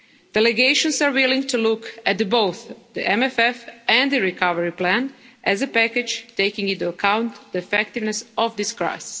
Delegations are willing to look at both the MFF and the recovery plan as a package, taking into account the effects of this crisis.